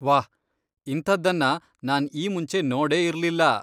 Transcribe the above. ವಾಹ್! ಇಂಥದ್ದನ್ನ ನಾನ್ ಈ ಮುಂಚೆ ನೋಡೇ ಇರ್ಲಿಲ್ಲ.